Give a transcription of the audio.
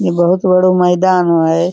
ये बहुत बड़ों मैदानों है।